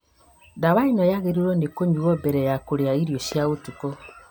Ndawa ĩno yagĩrĩirwo nĩkũnyuo mbele ya kũrĩa irio cia ũtukũ